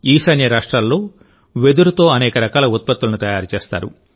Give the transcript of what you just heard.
ఈశాన్యరాష్ట్రాల్లో వెదురుతో అనేక రకాల ఉత్పత్తులను తయారు చేస్తారు